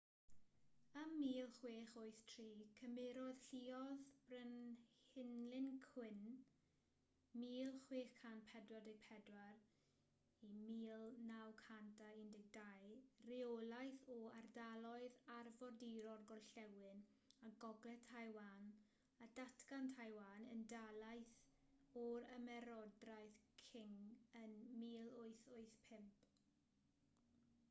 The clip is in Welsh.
ym 1683 cymerodd lluoedd brenhinlin qing 1644-1912 reolaeth o ardaloedd arfordirol gorllewin a gogledd taiwan a datgan taiwan yn dalaith o'r ymerodraeth qing ym 1885